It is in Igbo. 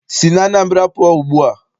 Si n'Anambra pụọ ugbua!